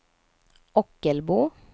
Ockelbo